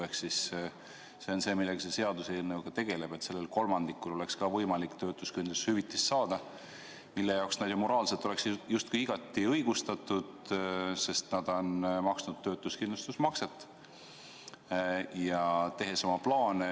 Ehk siis see on see, millega see seaduseelnõu ka tegeleb: et sellel kolmandikul oleks ka võimalik töötuskindlustushüvitist saada, mille jaoks neil oleks justkui moraalne õigus, sest nad on maksnud töötuskindlustusmakset ja teinud oma plaane.